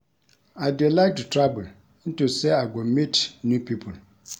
I dey like to travel into say I go meet new people